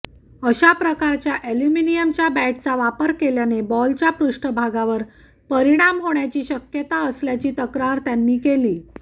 अशा प्रकारच्या अॅल्युमिनियमच्या बॅटचा वापर केल्याने बॉलच्या पृष्ठभागावर परिणाम होण्याची शक्यता असल्याची तक्रार त्यांनी केली